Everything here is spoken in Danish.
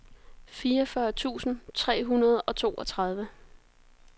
fireogfyrre tusind tre hundrede og toogtredive